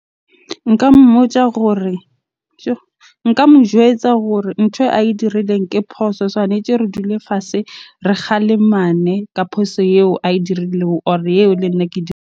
Nka mmotja gore . Nka mo jwetsa hore ntho ae dirileng ke phoso. Tshwanetje re dule fatshe, re kgalemane ka phoso eo ae dirileng or eo le nna ke .